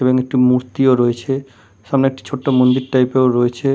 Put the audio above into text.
এখানে একটি মূর্তিও রয়েছে এখানে একটি ছোট্ট মন্দির টাইপ এরও রয়েছে।